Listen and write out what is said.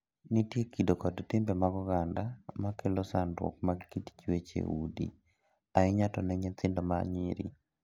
Nitie kido kod timbe mag oganda ma kelo sandruok mag kit chuech ei udi, ahinya to ne nyithindo ma nyiri.